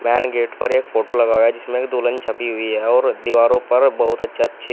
man gate पर एक photo लगा हुआ है जिसमें की दुल्हन छपी हुई है और दीवारों पर बहुत अच्छे अच्छे --